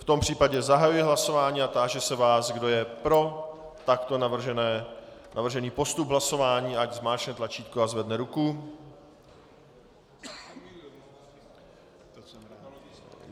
V tom případě zahajuji hlasování a táži se vás, kdo je pro takto navržený postup hlasování, ať zmáčkne tlačítko a zvedne ruku.